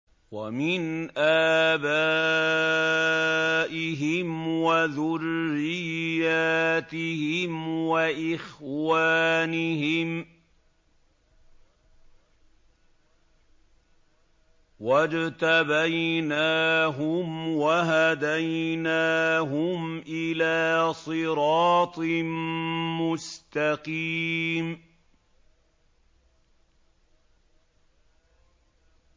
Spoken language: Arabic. وَمِنْ آبَائِهِمْ وَذُرِّيَّاتِهِمْ وَإِخْوَانِهِمْ ۖ وَاجْتَبَيْنَاهُمْ وَهَدَيْنَاهُمْ إِلَىٰ صِرَاطٍ مُّسْتَقِيمٍ